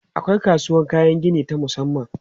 Akwai kasuwan kayan gini ta musamman.